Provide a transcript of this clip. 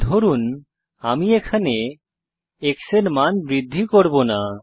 ধরুন আমি এখানে x এর মান বৃদ্ধি করব না